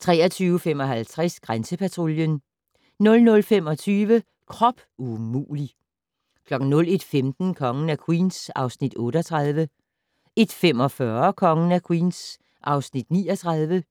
23:55: Grænsepatruljen 00:25: Krop umulig! 01:15: Kongen af Queens (Afs. 38) 01:45: Kongen af Queens (Afs. 39)